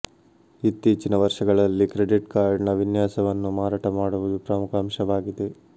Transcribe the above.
ಇತ್ತೀಚಿನ ವರ್ಷಗಳಲ್ಲಿ ಕ್ರೆಡಿಟ್ ಕಾರ್ಡ್ನ ವಿನ್ಯಾಸವನ್ನು ಮಾರಾಟ ಮಾಡುವುದು ಪ್ರಮುಖ ಅಂಶವಾಗಿದೆ